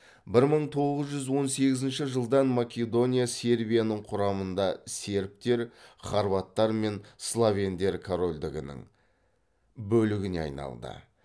бір мың тоғыз жүз он сегізінші жылдан македония сербияның құрамында сербтер хорваттар мен словендер корольдігінің бөлігіне айналды